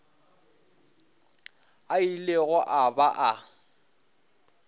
a ilego a ba a